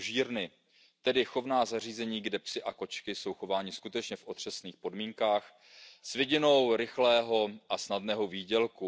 tzv. množírny, tedy chovná zařízení, kde psi a kočky jsou chováni skutečně v otřesných podmínkách s vidinou rychlého a snadného výdělku.